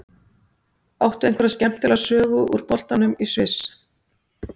Áttu einhverja skemmtilega sögu úr boltanum í Sviss?